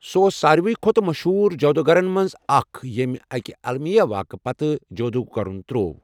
سُہ اوس ساروٕے کھۄتہٕ مشہوٗر جادوٗگَرَن منٛز اکھ ییٚمۍ اَکہِ اَلمِیہ واقعہٕ پتہٕ جادوٗ کرُن تٕروٚو۔